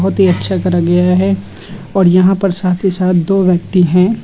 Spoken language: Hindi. बहुत ही अच्छा करा गया है और यहां पर साथ ही साथ दो व्यक्ति हैं।